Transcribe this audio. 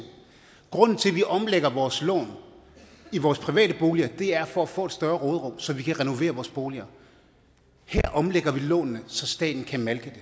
grunden til at vi omlægger vores lån i vores private boliger er for at få et større råderum så vi kan renovere vores boliger her omlægger vi lånene så staten kan malke